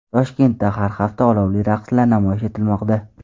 Toshkentda har hafta olovli raqslar namoyish etilmoqda .